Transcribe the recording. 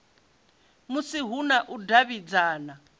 musi hu na u davhidzana